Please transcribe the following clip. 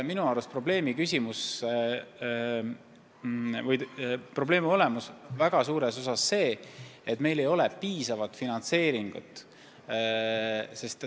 Minu arust probleemi olemus on selles, et meil ole piisavalt raha.